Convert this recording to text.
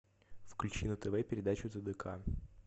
включи на тв передачу тдк